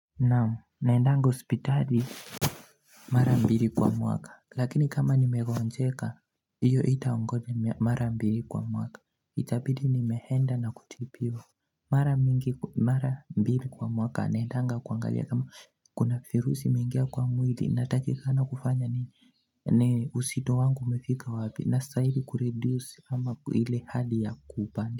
Naamu naendanga hospitali Mara mbili kwa mwaka lakini kama nimegoonjeka Iyo haitangoja mara mbili kwa mwaka itabidi ni mehenda na kutibiwa Mara mbili kwa mwaka naendanga kuangalia kama kuna virusi mingia kwa mwili na takikana kufanya ni ni uzito wangu umefika wapi nastahili kureduce ama ile hali ya kupandi.